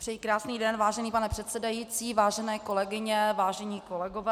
Přeji krásný den, vážený pane předsedající, vážené kolegyně, vážení kolegové.